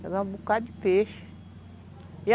Chegava um bocado de peixe.